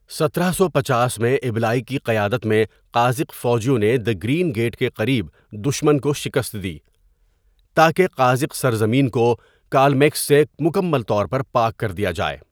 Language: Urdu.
سترہ سو پچاس میں، ابلائی کی قیادت میں قازق فوجیوں نے دزگرین گیٹ کے قریب دشمن کو شکست دی تاکہ قازق سرزمین کو کالمیکس سے مکمل طور پر پاک کر دیا جائے.